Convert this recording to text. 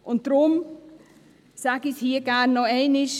Deshalb sage ich es hier gerne noch einmal: